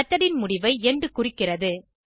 method ன் முடிவை end குறிக்கிறது